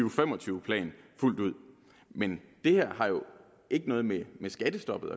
og fem og tyve plan fuldt ud men det her har jo ikke noget med skattestoppet